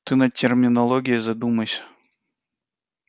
ты над терминологией задумайся